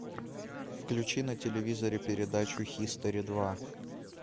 включи на телевизоре передачу хистори два